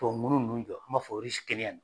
Tubabu ŋunu ninnu jɔ an b'a fɔ